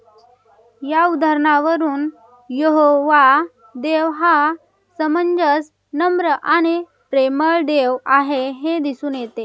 या उदाहरणावरून यहोवा देव हा समंजस, नम्र आणि प्रेमळ देव आहे हे दिसून येतं.